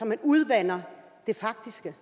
man udvander det faktiske